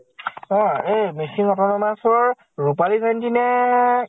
অ এই মিছিং autonomous ৰ ৰূপালী জয়ন্তী নে